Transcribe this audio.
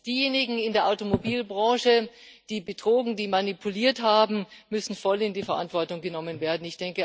Erstens Diejenigen in der Automobilbranche, die betrogen, die manipuliert haben, müssen voll in die Verantwortung genommen werden.